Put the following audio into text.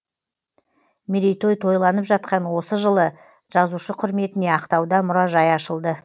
мерейтой тойланып жатқан осы жылы жазушы құрметіне ақтауда мұражай ашылды